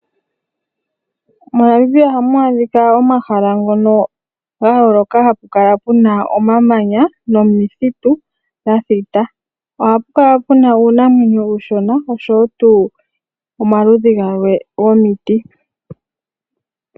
MoNamibia omuna omahala gayooloka ngoka gena omamanya nomithitu dha thita. Ohamu kala muna uunamwenyo uushona osho wo omaludhi galwe gomiti.